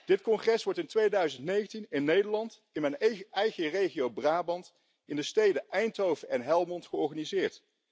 Dit congres wordt in 2019 in Nederland in mijn eigen regio Brabant, in de steden Eindhoven en Helmond georganiseerd.